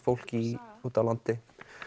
fólk úti á landi